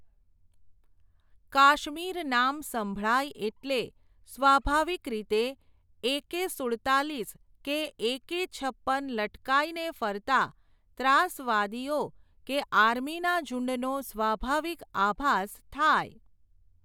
કાશ્મીર નામ સંભળાય એટલે, સ્વાભાવિક રીતે એકે સુડતાલીસ કે એકે છપ્પન લટકાઈને ફરતા, ત્રાસવાદીઓ કે આર્મીના ઝૂંડનો સ્વાભાવિક આભાસ થાય.